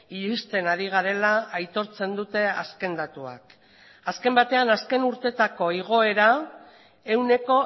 iristen ari garela aitortzen dute azken datuak azken batean azken urteetako igoera ehuneko